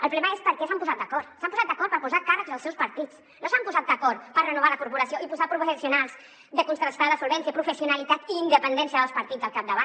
el problema és per què s’han posat d’acord s’han posat d’acord per posar càrrecs dels seus partits no s’han posat d’acord per renovar la corporació i posar professionals de contrastada solvència professionalitat i independència dels partits al capdavant